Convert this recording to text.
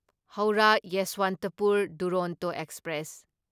Howrah Yesvantpur Duronto express